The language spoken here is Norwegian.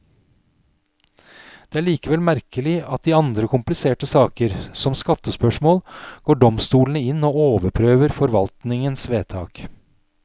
Det er likevel merkelig at i andre kompliserte saker, som skattespørsmål, går domstolene inn og overprøver forvaltningens vedtak.